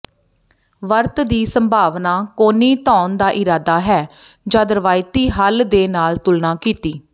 ਵਰਤ ਦੀ ਸੰਭਾਵਨਾ ਕੋਣੀ ਧੋਣ ਦਾ ਇਰਾਦਾ ਹੈ ਜਦ ਰਵਾਇਤੀ ਹੱਲ ਦੇ ਨਾਲ ਤੁਲਨਾ ਕੀਤੀ